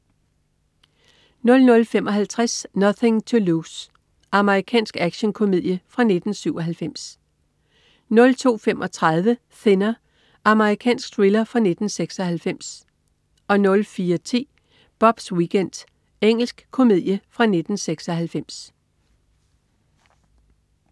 00.55 Nothing to Lose. Amerikansk actionkomedie fra 1997 02.35 Thinner. Amerikansk thriller fra 1996 04.10 Bobs weekend. Engelsk komedie fra 1996